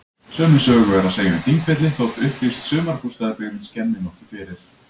Sömu sögu er að segja um Þingvelli þótt upplýst sumarbústaðabyggðin skemmi nokkuð fyrir.